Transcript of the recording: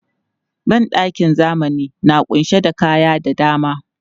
Ban ɗakin zamani na ƙunshe da kaya da dama.